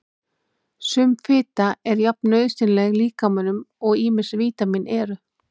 Sum fita er jafn nauðsynleg líkamanum og ýmis vítamín eru.